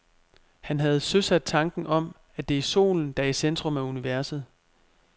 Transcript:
Han havde søsat tanken om, at det er solen, der er i centrum af universet.